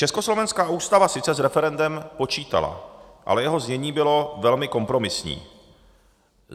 Československá ústava sice s referendem počítala, ale jeho znění bylo velmi kompromisní.